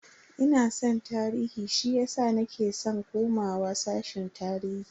Ina san tarihi shiyasa nake san komawa sashen tarihi.